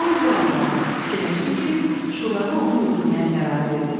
Oliver ağladı, fikirləşdi ki, şurada onu öldürməyə qərar verilib.